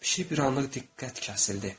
Pişik bir anlıq diqqət kəsildi.